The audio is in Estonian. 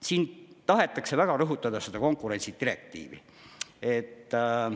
Siin tahetakse väga rõhutada seda konkurentsidirektiivi.